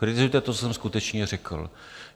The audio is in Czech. Kritizujte to, co jsem skutečně řekl.